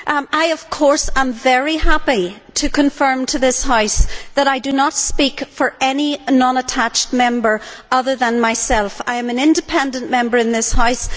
I am very happy to confirm to this House that I do not speak for any non attached Member other than myself. I am an independent Member in this House.